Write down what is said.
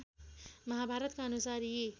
महाभारतका अनुसार यी